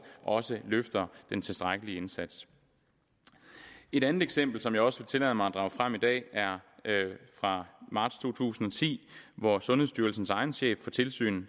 også løfter en tilstrækkelig indsats et andet eksempel som jeg også vil tillade mig at drage frem i dag er fra marts to tusind og ti hvor sundhedsstyrelsens egen chef for tilsyn